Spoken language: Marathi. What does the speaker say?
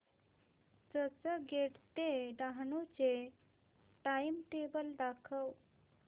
चर्चगेट ते डहाणू चे टाइमटेबल दाखव